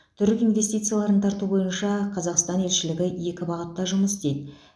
түрік инвестицияларын тарту бойынша қазақстан елшілігі екі бағытта жұмыс істейді